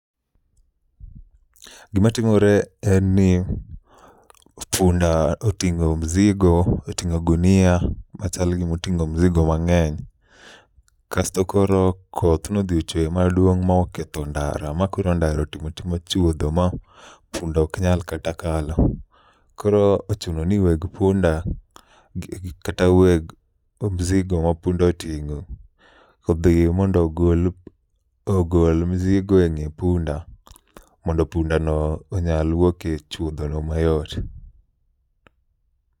Gima timore en ni punda oting'o mzigo, oting'o gunia machalo gimoting'o mzigo mang'eny. Kasto moro koth nodhi ochwe maduong' ma oketho ndara, ma koro ndara otima tima chuodho ma punda ok nyal kata kalo. Koro ochuno ni weg punda gi kata weg o mzigo ma punda oting'o odhi mondo ogol mzigo e ng'e punda. Mondo punda no onyal wuok e chuodho no mayot.